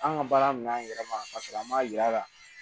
An ka baara minan yɛrɛ ma ka sɔrɔ an m'a yira ka